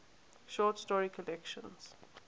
short story collections